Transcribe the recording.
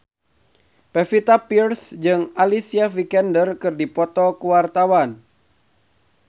Pevita Pearce jeung Alicia Vikander keur dipoto ku wartawan